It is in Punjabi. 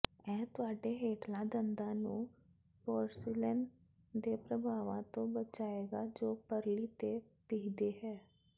ਇਹ ਤੁਹਾਡੇ ਹੇਠਲੇ ਦੰਦਾਂ ਨੂੰ ਪੋਰਸਿਲੇਨ ਦੇ ਪ੍ਰਭਾਵਾਂ ਤੋਂ ਬਚਾਏਗਾ ਜੋ ਪਰਲੀ ਤੇ ਪੀਹਦੇ ਹਨ